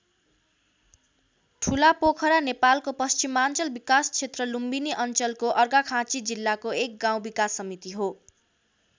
ठुलापोखरा नेपालको पश्चिमाञ्चल विकासक्षेत्र लुम्बिनी अञ्चलको अर्घाखाँची जिल्लाको एक गाउँ विकास समिति हो।